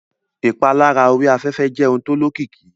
Ìpalára orí afẹ́fẹ́ jẹ́ ohun tó lókìkí